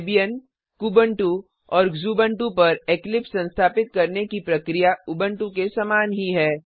Debian Kubuntu और Xubuntu पर Eclipse संस्थापित करने की प्रक्रिया उबंटु के समान ही है